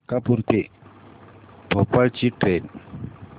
मलकापूर ते भोपाळ ची ट्रेन